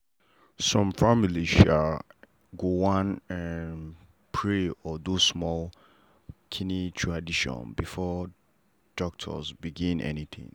some family um go wan um pray or do small um tradition before doctor begin anything.